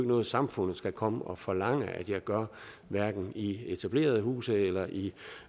noget samfundet skal komme og forlange at jeg gør hverken i etablerede huse eller i